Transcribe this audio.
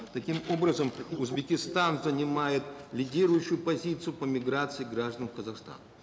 таким образом узбекистан занимает лидирующую позицию по миграции граждан в казахстан